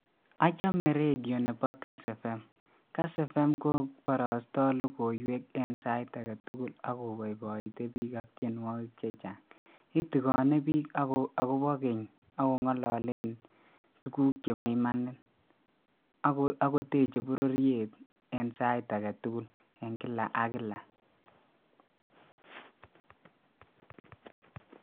Achome redio nedo kass evem ,kass evem koiborosto logoiwek en sait agetukul ak koboiboite bik ak tienwokik che chang, itigone biik ak kobo geny ak kongololen tukuk chebo imanit ak koteche bororiet en sait aketukul en kila ak kila